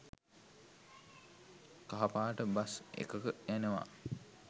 කහපාට bus එකක එනවා